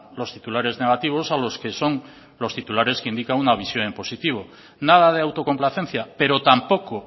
los titulares negativos a los que son los titulares que indican una visión en positivo nada de autocomplacencia pero tampoco